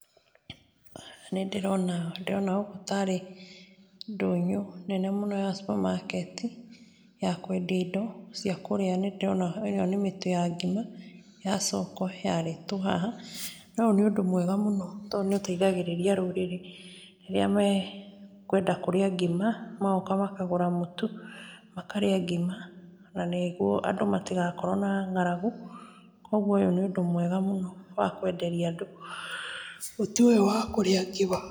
Nĩ ndĩrona, nĩ ndĩrona gũkũ ta rĩ ndũnyũ nene mũno ya supermarket ya kwendia indo cia kũrĩa, nĩ ndĩrona ĩno nĩ mĩtu ya ngima ya Soko yarĩtwo haha, na ũyũ nĩ ũndũ mwega mũno, tondũ nĩ ũteithagĩrĩria rũrĩrĩ rĩrĩa mekwenda kũrĩa ngima magoka makagũra mũtu, makarĩa ngima, na nĩguo andũ matigakorwo na ng'aragu, kogwo ũyũ nĩ ũndũ mwega mũno wa kwenderia andũ mũtu ũyũ wa kũrĩa ngima.